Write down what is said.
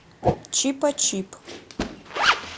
чипачип